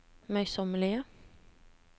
møysommelige